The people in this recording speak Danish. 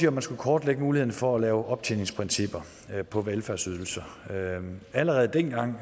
at man skulle kortlægge muligheden for at lave optjeningsprincipper på velfærdsydelser allerede dengang